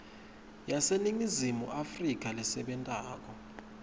yaseningizimu afrika lesebentako